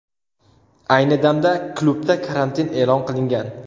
Ayni damda klubda karantin e’lon qilingan.